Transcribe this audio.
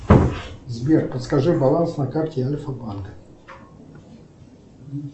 сбер подскажи баланс на карте альфа банк